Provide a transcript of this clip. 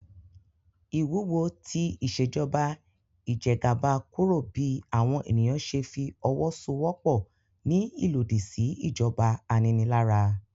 Ìwúwo ti Ìṣèjọba ijẹgàba kúrò bí àwọn ènìyàn ṣe fi owó so'wọ́pọ̀ ní ìlòdì sí ìjọba aninilára